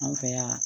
An fɛ yan